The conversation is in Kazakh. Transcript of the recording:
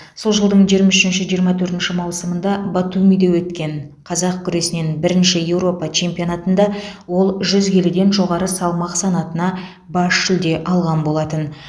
сол жылдың жиырма үшінші жиырма төртінші маусымында батумиде өткен қазақ күресінен бірінші еуропа чемпионатында ол жүз келіден жоғары салмақ санатына бас жүлде алған болатын